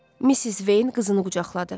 Missis Veyn qızını qucaqladı.